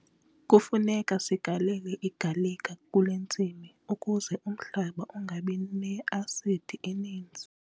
Kufuneka sigalele igalika kule ntsimi ukuze umhlaba ungabi ne-asidi eninzi.